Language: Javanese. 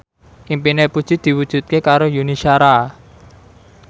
impine Puji diwujudke karo Yuni Shara